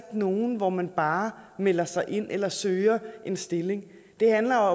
nogle hvor man bare melder sig ind eller søger en stilling det handler